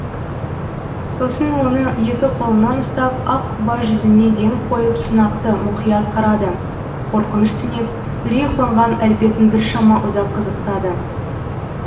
сосын оны екі қолынан ұстап ақ құба жүзіне ден қойып сынақты мұқият қарады қорқыныш түнеп үрей қонған әлпетін біршама ұзақ қызықтады